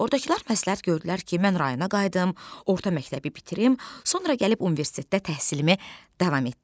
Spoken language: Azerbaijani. Ordakılar məsləhət gördülər ki, mən rayona qayıdım, orta məktəbi bitirim, sonra gəlib universitetdə təhsilimi davam etdirim.